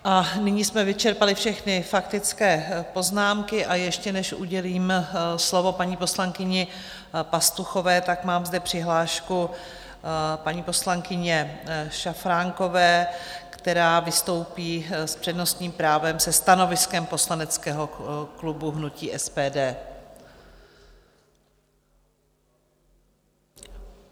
Nyní jsme vyčerpali všechny faktické poznámky, a ještě než udělím slovo paní poslankyni Pastuchové, tak zde mám přihlášku paní poslankyně Šafránkové, která vystoupí s přednostním právem se stanoviskem poslaneckého klubu hnutí SPD.